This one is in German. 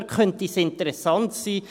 Dort könnte es interessant sein.